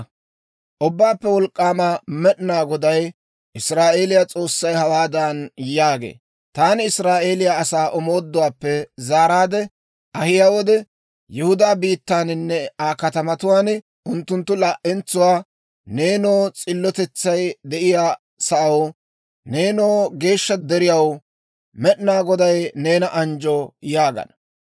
Ubbaappe Wolk'k'aama Med'inaa Goday, Israa'eeliyaa S'oossay, hawaadan yaagee; «Taani Israa'eeliyaa asaa omooduwaappe zaaraadde ahiyaa wode, Yihudaa biittaaninne Aa katamatuwaan unttunttu laa"entsuwaa, ‹Neenoo s'illotetsay de'iyaa sa'aw, nenoo geeshsha deriyaw, Med'inaa Goday neena anjjo› yaagana.